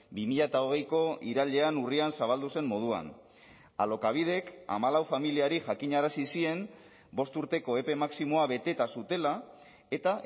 bi mila hogeiko irailean urrian zabaldu zen moduan alokabidek hamalau familiari jakinarazi zien bost urteko epe maximoa beteta zutela eta